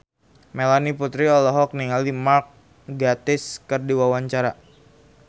Melanie Putri olohok ningali Mark Gatiss keur diwawancara